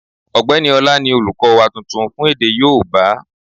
Ọ̀gbẹ́ni Ọlá ni olùkọ́ wa tuntun fún èdè yóòbá